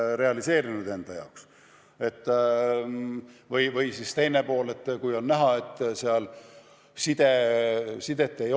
Ja teiseks, kui on näha, et sidet ei ole, siis on võimalik mingiks ajaks hääletamine katkestada.